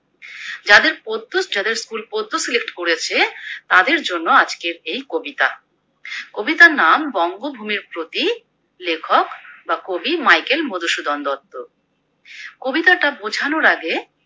যাদের পদ্য যাদের School পদ্য Select করেছে তাদের জন্য আজকে এই কবিতা, কবিতার নাম বঙ্গভূমির প্রতি লেখক বা কবি মাইকেল মধুসূদন দত্ত। কবিতাটা বোঝানোর আগে